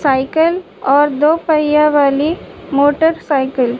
cycle और दो पहिया वाली मोटर साईकल --